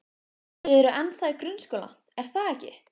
Þið eruð ennþá í grunnskóla, er það ekki?